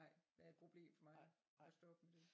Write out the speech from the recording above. Nej været et problem for mig at stoppe med det